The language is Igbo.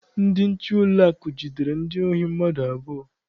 Ndị nche ụlọakụ jidere ndị ohi mmadụ abụọ.